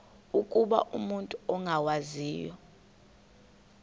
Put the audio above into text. ukuba umut ongawazivo